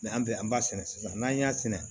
an bɛ an b'a sɛnɛ sisan n'an y'a sɛnɛ